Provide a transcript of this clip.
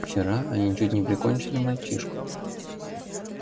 вчера они чуть не прикончили мальчишку